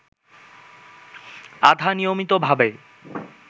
আধা-নিয়মিতভাবে